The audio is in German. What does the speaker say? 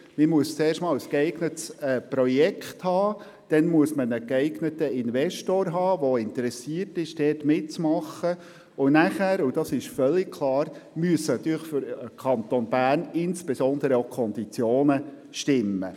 Es muss ein geeignetes Projekt vorliegen, dafür muss ein geeigneter Investor gefunden werden, und schliesslich müssen insbesondere auch die Konditionen für den Kanton Bern stimmen.